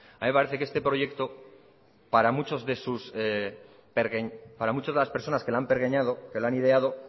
a mí me parece que este proyecto para muchas de las personas que lo han pergeñado que lo han ideado